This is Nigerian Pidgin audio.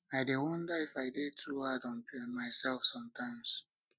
i dey dey wonder if i dey too hard on myself sometimes